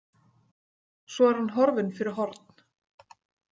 Svo er hann horfinn fyrir horn.